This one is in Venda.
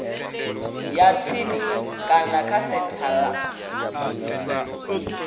ya tsini kana kha senthara